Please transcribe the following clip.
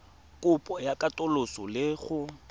kopo ya katoloso le go